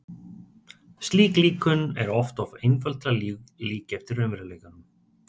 Slík líkön eru oft of einföld til að líkja eftir raunveruleikanum.